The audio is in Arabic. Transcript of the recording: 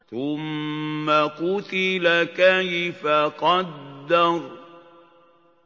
ثُمَّ قُتِلَ كَيْفَ قَدَّرَ